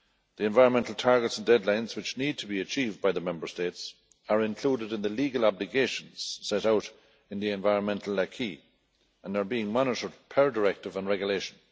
The environmental targets and deadlines which need to be achieved by the Member States are included in the legal obligations set out in the environmental aquis and are being monitored per directive and regulation.